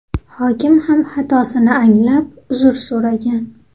Hokim ham xatosini anglab uzr so‘ragan.